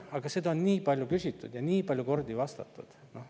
Aga seda on juba nii palju küsitud ja sellele on väga palju kordi vastatud.